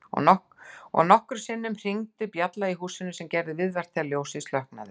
Og nokkrum sinnum hringdi bjallan í húsinu sem gerði viðvart þegar ljósið slokknaði.